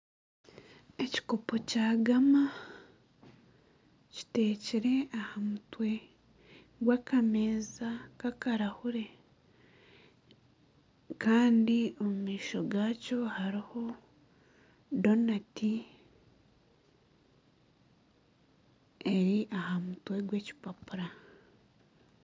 Ekikopo kya gaama kitekire aha mutwe gw'akameeza kakarahuure kandi omu maisho gakyo hariho donati eri aha mutwe gw'ekipapura.